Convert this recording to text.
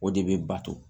O de bɛ bato